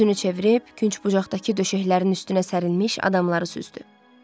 Üzünü çevirib künc bucaqdakı döşəklərin üstünə sərilmiş adamları süzdü.